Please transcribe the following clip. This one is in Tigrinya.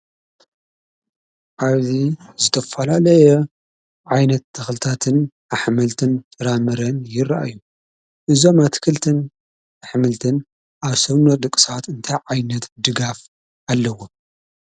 ኣብዚ ዝተፈላለየ ዓይነት ተኽልታትን ኣሕምልትን ፍራምረን ይረኣዩ፡፡ እዞም ኣትክልትን ኣሕምልትን ኣብ ሰውነት ደቂ ሰባት እንታይ ዓይነት ድጋፍ ኣለዎም?